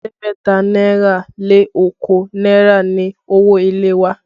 Ẹ̀ẹ́dẹ́gbẹ̀ta náírà lé okòó náírà ni owó ilé wa